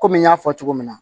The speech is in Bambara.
Kɔmi n y'a fɔ cogo min na